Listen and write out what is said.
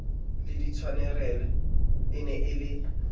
le ntshwarele e ne e